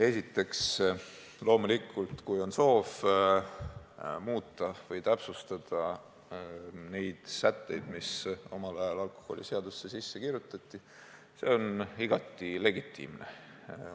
Esiteks, loomulikult, kui on soov muuta või täpsustada neid sätteid, mis omal ajal alkoholiseadusesse sisse kirjutati, siis see on igati legitiimne.